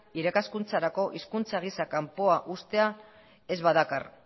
irakaskuntzarako hizkuntza gisa kanpoan uztea ez badakar